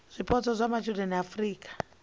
zwipotso zwa matshudeni a afurika